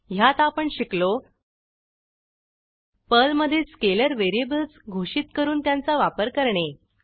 ह्यात आपण शिकलो पर्लमधे स्केलर व्हेरिएबल्स घोषित करून त्यांचा वापर करणे